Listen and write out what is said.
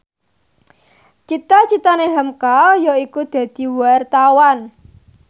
cita citane hamka yaiku dadi wartawan